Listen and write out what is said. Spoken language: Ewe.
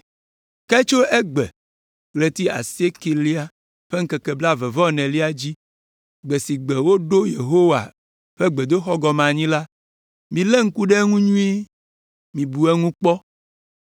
“ ‘Ke tso egbe, ɣleti asiekɛlia ƒe ŋkeke blaeve-vɔ-enelia dzi, gbe si gbe woɖo Yehowa ƒe gbedoxɔ gɔme anyi la, milé ŋku ɖe eŋu nyuie. Mibu eŋu kpɔ: